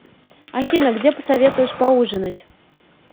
афина где посоветуешь поужинать